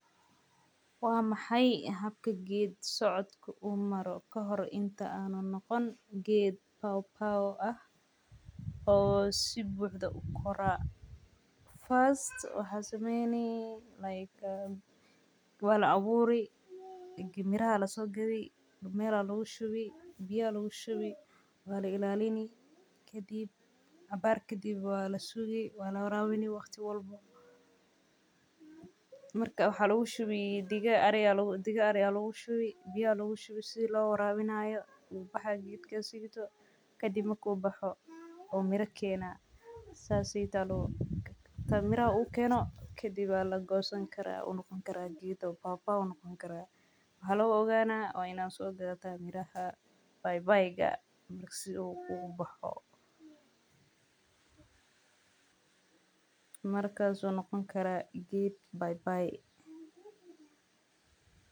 Waa maxay habka ged socodku uu maro kahor intaa aanan noqonin ged pawpaw ah, oo sibuxdo ukoro first waxad samweyni like wala aburi kadib miraha aya lasogadi, meel aya lagu shubi biyo lagushubi wala ilalini caabar kadib walasugi wala warabini waqti walbo, marka waxa lagushubi diga ari aya lagushubi, biya aya lagushubi sidaa loo warabinayo wax yar kadib markad sugto, kadib marka uboxo uu mira kenaa inta miraha ukeno kadib lagosani kara uu ged pawpaw noqoni kara, waxa lagu oganah waa ina sogadata miraha paypayga uu boxo markas ayu noqoni kara ged paypay.